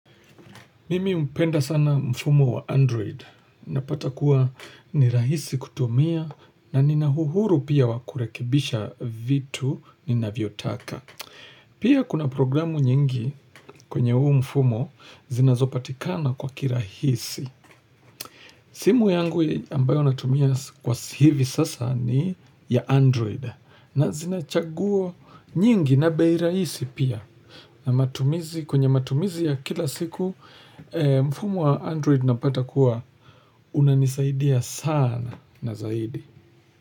Mimi hupenda sana mfumo wa android. Napata kuwa ni rahisi kutumia na nina huhuru pia wakurekibisha vitu nina vyotaka. Pia kuna programu nyingi kwenye huu mfumo zinazopatikana kwa kirahisi. Simu yangu ambayo natumia kwa hivi sasa ni ya android. Na zinachagoa nyingi na behiraisi pia. Na matumizi kwenye matumizi ya kila siku. Mfumo wa android na pata kuwa. Unanisaidia sana na zaidi.